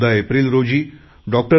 14 April रोजी डॉ